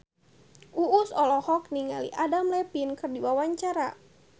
Uus olohok ningali Adam Levine keur diwawancara